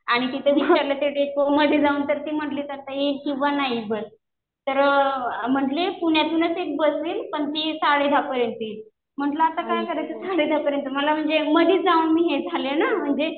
आणि तिथे विचारलं त्या डेपोमध्ये जाऊन तर ते म्हणले कि आता येईल किंवा नाही बस. तर म्हणले पुण्यातूनच एक बस येईल. पण ती साडे दहा पर्यंत येईल. म्हणलं आता काय करायचं साडे दहापर्यंत. मला म्हणजे मध्ये जाऊन मी हे झाले ना.